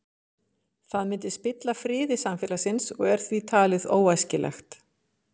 Að því leytinu til væri hann eins og svarthol.